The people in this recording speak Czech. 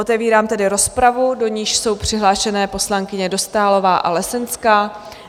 Otevírám tedy rozpravu, do níž jsou přihlášeny poslankyně Dostálová a Lesenská.